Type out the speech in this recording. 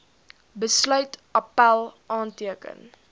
besluit appèl aanteken